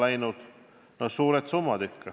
Need on ikka suured summad.